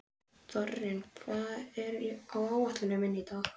Þórinn, hvað er á áætluninni minni í dag?